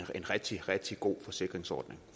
rigtig rigtig god forsikringsordning